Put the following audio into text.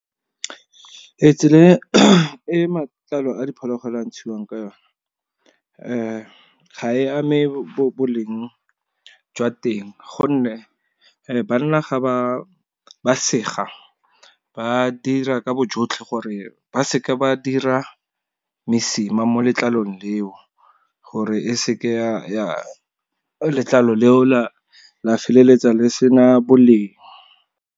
Tsela e matlalo a diphologolo a ntshiwang ka yone, ga e ame boleng jwa teng. Gonne banna ga ba ba sega, ba dira ka bojotlhe gore ba seka ba dira mesima mo letlalong leo, gore e seke ya letlalo leo la la feleletsa le sena boleng.